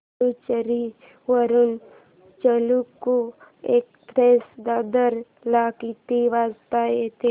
पुडूचेरी वरून चालुक्य एक्सप्रेस दादर ला किती वाजता येते